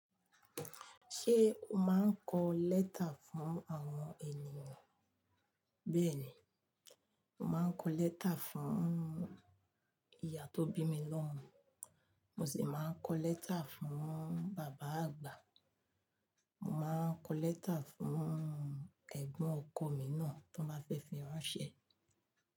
Ṣé o máa ń kọ lẹ́tà fún àwọn ènìyàn? Bẹ́ẹ̀ni, mo màá ń kọ lẹ́tà fún ìyá tó bí mi lọ́mo, mo sì máa ń kọ lẹ́tà fún bàbá àgbà. Mo máa ń kọ lẹ́tà fún ẹ̀gbọ́n ọkọ mi náà tan ba fẹ́ fi ranṣẹ̀